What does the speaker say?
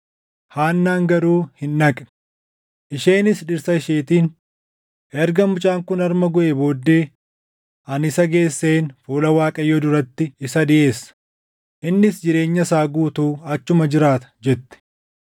Haannaan garuu hin dhaqne. Isheenis dhirsa isheetiin, “Erga mucaan kun harma guʼee booddee ani isa geesseen fuula Waaqayyoo duratti isa dhiʼeessa; innis jireenya isaa guutuu achuma jiraata” jette.